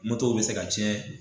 bi se ka cɛn